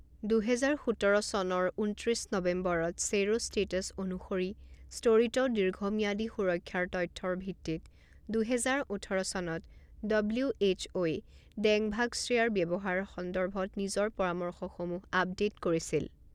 দুহেজাৰ সোতৰ চনৰ ঊনত্ৰিছ নৱেম্বৰত চেৰ'ষ্টেটাছ অনুসৰি স্তৰিত দীৰ্ঘম্যাদী সুৰক্ষাৰ তথ্যৰ ভিত্তিত দুহেজাৰ ওঠৰ চনত ডব্লিউ এইচ অ'ই ডেংভাক্সিয়াৰ ব্যৱহাৰৰ সন্দৰ্ভত নিজৰ পৰামৰ্শসমূহ আপডেট কৰিছিল।